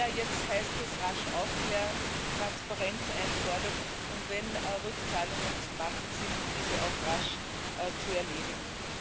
Ja, jetzt heißt es rasch aufklären, Transparenz einfordern und wenn Rückzahlungen zu machen sind diese auch rasch zu erledigen.